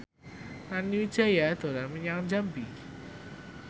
Nani Wijaya dolan menyang Jambi